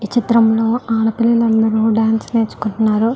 ఈ చిత్రం లో ఆడపిల్లలందరూ డాన్స్ నేర్చుకుంటున్నారు.